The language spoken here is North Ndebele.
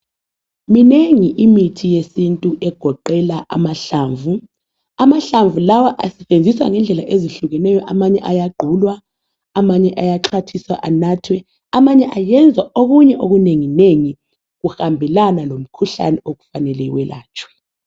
Minengi imithi yesintu egoqela amahlamvu, amahlamvu lawa asetshenziswa ngendlela ezihlukeneyo amanye ayagqulwa amanye ayaxhwathiswa anathwe amanye ayenzwa okunye okunengi nengi kuhambelana lomkhuhlane okufanele welatshwe.